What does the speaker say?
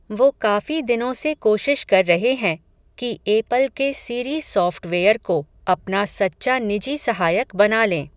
वो काफ़ी दिनों से कोशिश कर रहे हैं, कि एपल के सीरी सॉफ़्टवेयर को अपना सच्चा निजी सहायक बना लें.